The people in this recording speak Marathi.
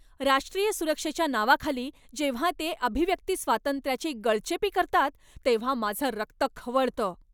राष्ट्रीय सुरक्षेच्या नावाखाली जेव्हा ते अभिव्यक्ती स्वातंत्र्याची गळचेपी करतात तेव्हा माझं रक्त खवळतं.